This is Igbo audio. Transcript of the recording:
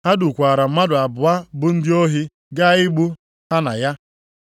Ha dukwaara mmadụ abụọ bụ ndị ohi gaa igbu ha na ya.